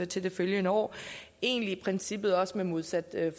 til det følgende år egentlig i princippet også med modsat